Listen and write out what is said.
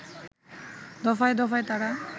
দফায় দফায় তারা